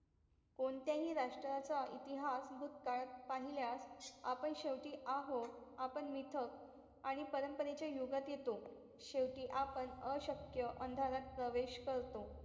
कोणत्याही राष्ट्राचा इतिहास भूतकाळ पाहिल्यास आपण शेवटी आहोत आपण निर्थक आणि परंपरेच्या युगात येतो शेवटी आपण अशक्य अंधारात प्रवेश करतो